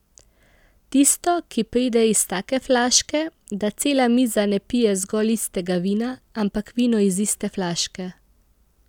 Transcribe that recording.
Tisto, ki pride iz take flaške, da cela miza ne pije zgolj istega vina, ampak vino iz iste flaške.